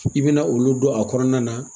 I bɛna olu don a kɔnɔna na